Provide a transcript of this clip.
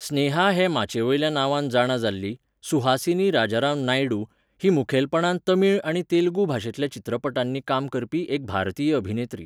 स्नेहा हे माचयेवेल्या नांवान जाणा जाल्ली, सुहासिनी राजाराम नायडू, ही मुखेलपणान तमिळ आनी तेलुगू भाशेंतल्या चित्रपटांनी काम करपी एक भारतीय अभिनेत्री.